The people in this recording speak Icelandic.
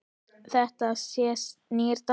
Þetta sé nýr dans.